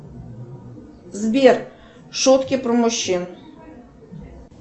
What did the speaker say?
сбер шутки про мужчин